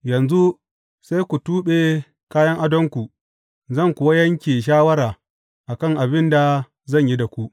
Yanzu sai ku tuɓe kayan adonku, zan kuwa yanke shawara a kan abin da zan yi da ku.’